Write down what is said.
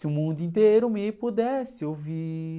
Se o mundo inteiro me pudesse ouvir...